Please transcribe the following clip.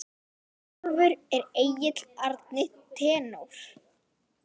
Sjálfur er Egill Árni tenór.